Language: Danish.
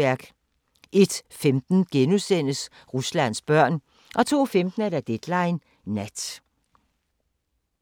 01:15: Ruslands børn * 02:15: Deadline Nat